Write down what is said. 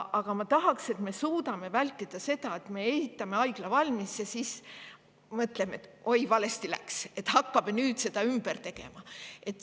Aga ma tahan, et me suudaksime vältida seda, et me ehitame haigla valmis ja siis mõtleme, et oi, valesti läks, hakkame nüüd seda ümber tegema.